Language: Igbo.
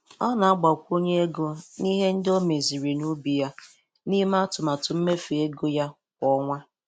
Ọ na-agbakwunye ego n'ihe ndị o meziri n'ubi ya n'ime atụmatụ mmefu ego ya kwa ọnwa.